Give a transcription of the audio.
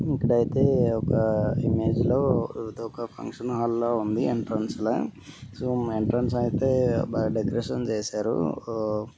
ఇక్కడైతే ఒక ఇమేజ్ లో ఇదొక ఫంక్షన్ హాల్ లా ఉంది. ఎంట్రన్స్ లా సో ఎంట్రన్స్ అయితే బాగా డెకరేషన్ చేశారు. ఆ--